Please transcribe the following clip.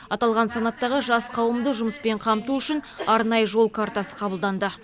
аталған санаттағы жас қауымды жұмыспен қамту үшін арнайы жол картасы қабылданды